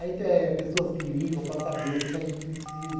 Aí tem eh pessoas que ligam para saber o que que a gente precisa.